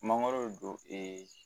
Mangoro don ee